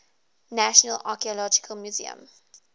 national archaeological museum